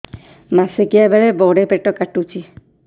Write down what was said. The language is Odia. ମାସିକିଆ ବେଳେ ବଡେ ପେଟ କାଟୁଚି